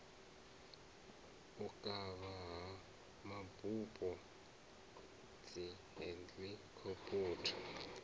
u kavha ha mabupo dzihelikhophutha